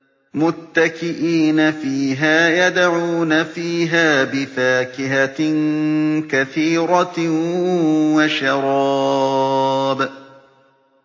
مُتَّكِئِينَ فِيهَا يَدْعُونَ فِيهَا بِفَاكِهَةٍ كَثِيرَةٍ وَشَرَابٍ